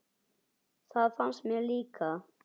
Það fannst mér líka.